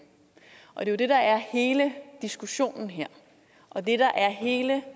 og det er jo det der er hele diskussionen her og det der er hele